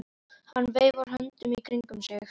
Hann veifar höndunum í kringum sig.